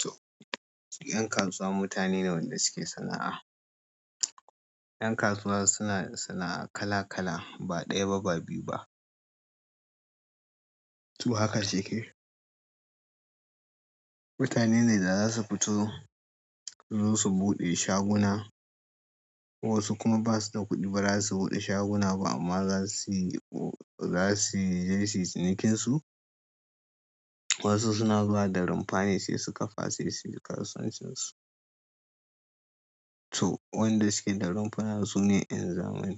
To, 'yan kasuwa mutane ne wanda suke sana'a. 'Yan kasuwa suna sana'a kala kala ba ɗaya ba, ba biyu ba. To haka shi ke. Mutane ne da za su fito su zo su buɗe shaguna, wasu kuma ba su da kuɗi bara su buɗe shaguna ba amma za su yi, za su yi lesi cinikinsu. Wasu suna zuwa da rumfa ne sai su ƙafa sai su yi kasuwancin su. To wanda suke da rumfuna sune 'yan zamani.